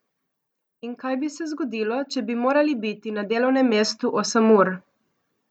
In kaj bi se zgodilo, če bi morali biti na delovnem mestu osem ur?